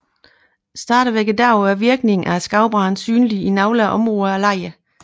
Stadigvæk i dag er virkningerne af skovbranden synlige i nogle områder af lejren